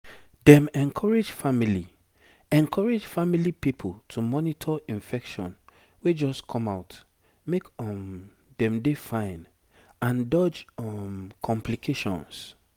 dem encourage family encourage family pipo to monitor infection wey just come out make um dem dey fine and dodge um complications